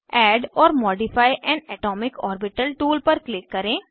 add or modify an atomic orbital tool पर click करें